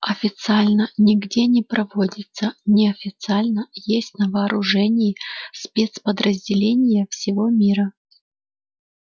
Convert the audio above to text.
официально нигде не проводится неофициально есть на вооружении спецподразделений всего мира